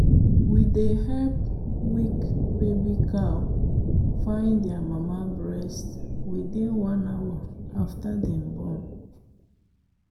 we dey help weak baby cow find their mama breast within one hour after dem born.